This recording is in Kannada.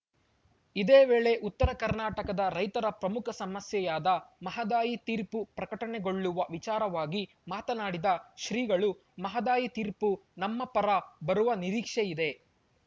ಇದೇ ವೇಳೆ ಉತ್ತರ ಕರ್ನಾಟಕದ ರೈತರ ಪ್ರಮುಖ ಸಮಸ್ಯೆಯಾದ ಮಹದಾಯಿ ತೀರ್ಪು ಪ್ರಕಟಗೊಳ್ಳುವ ವಿಚಾರವಾಗಿ ಮಾತನಾಡಿದ ಶ್ರೀಗಳು ಮಹದಾಯಿ ತೀರ್ಪು ನಮ್ಮ ಪರ ಬರುವ ನಿರೀಕ್ಷೆ ಇದೆ